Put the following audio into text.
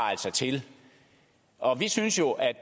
til og vi synes jo at